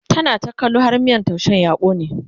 tana ta kallo har miyan taushen ya kone